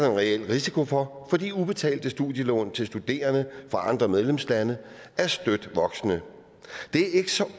en reel risiko for fordi ubetalte studielån til studerende fra andre medlemslande er støt voksende det er ikke så